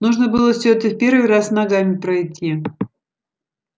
нужно было всё это в первый раз ногами пройти